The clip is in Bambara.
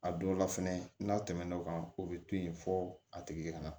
A dɔw la fɛnɛ n'a tɛmɛn'o kan o bɛ to yen fo a tigi ka na